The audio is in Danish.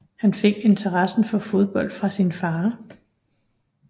Han fik interessen for fodbold fra sin far